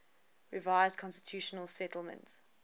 revised constitutional settlement